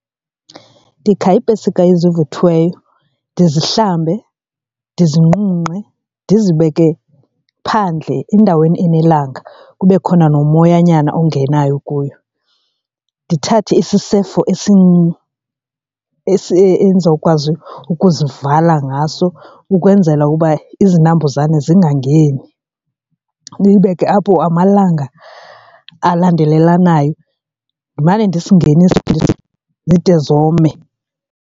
Ndikha iipesika ezivuthweyo ndizihlambe, ndizinqunqe ndizibeke phandle endaweni enelanga kube khona nomoyanyana ongenayo kuyo. Ndithathe sisefo sam esi endizokwazi ukuzivala ngaso ukwenzela uba izinambuzane zingangeni, ndiyibeke apho amalanga elandelelanayo ndimane ndizingenisa zide zome.